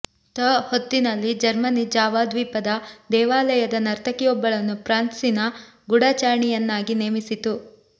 ಂಥ ಹೊತ್ತಲ್ಲಿ Germany Java ದ್ವೀಪದ ದೇವಾಲಯದ ನರ್ತಕಿಯೊಬ್ಬಳನ್ನು ಫ್ರಾನ್ಸಿನ ಗೂಢಚಾರಿಣಿಯನ್ನಾಗಿ ನೇಮಿಸಿತು